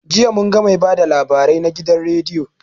Jiya munga mai ba da labarai na gidan rediyo